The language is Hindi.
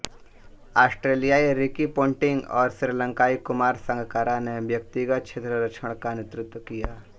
ऑस्ट्रेलियाई रिकी पोंटिंग और श्रीलंकाई कुमार संगकारा ने व्यक्तिगत क्षेत्ररक्षण का नेतृत्व किया